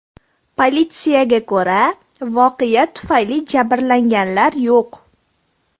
Politsiyaga ko‘ra, voqea tufayli jabrlanganlar yo‘q.